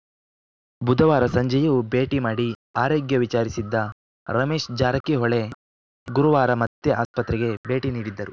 ಬುಧವಾರ ಸಂಜೆಯೂ ಭೇಟಿ ಮಾಡಿ ಆರೋಗ್ಯ ವಿಚಾರಿಸಿದ್ದ ರಮೇಶ್‌ ಜಾರಕಿಹೊಳಿ ಗುರುವಾರ ಮತ್ತೆ ಆಸ್ಪತ್ರೆಗೆ ಭೇಟಿ ನೀಡಿದ್ದರು